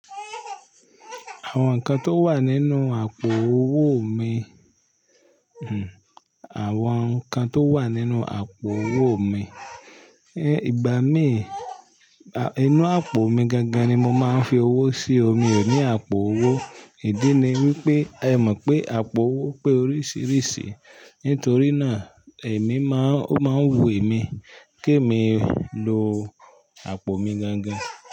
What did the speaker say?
Àwọn nǹkan tó wà nínú àpò owó mi, Àwọn nǹkan tó wà nínú àpò owó mi, ìgbà mí, inú àpò mi gangan ni mo máa ń fi owó sí, mi ò ní àpò owó, ìdí ni wípé ẹ mọ̀ pé àpò owó pé oríṣiríṣi, nítorí náà èmi máa, ó máa ń wu èmi kí èmi lo àpò mi gangan.